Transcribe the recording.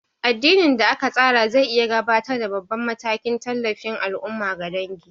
Addinin da aka tsara zai iya gabatar da babban matakin tallafin al'umma ga dangi.